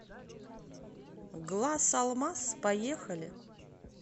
глаз алмаз поехали